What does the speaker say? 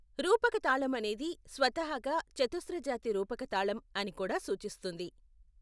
రూపక తాళం అనేది స్వతహాగా చతుస్ర జాతి రూపక తాళం అని కూడా సూచిస్తుంది.